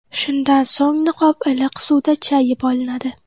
Shundan so‘ng niqob iliq suvda chayib olinadi.